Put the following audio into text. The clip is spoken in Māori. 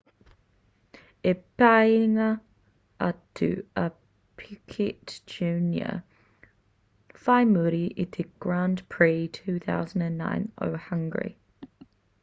i peingia atu a piquet jr whai muri i te grand prix 2009 o hungry